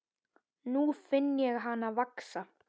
Nú finn ég hana vaxa.